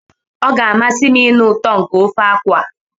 Ọ ga-amasị m ịnụ ụtọ nke ofe akwu a.